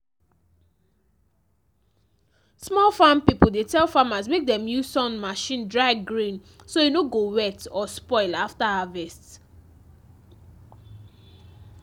small farm people dey tell farmers mek dem use sun machine dry grain so e no go wet or spoil after harvest